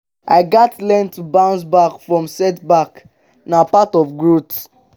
i gats learn to bounce back from setbacks; na part of growth.